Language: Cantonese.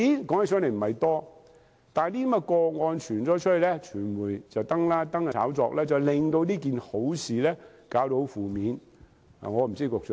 金額不算很多，但這些個案被揭發，經傳媒報道及炒作後，便令這件好事變得負面。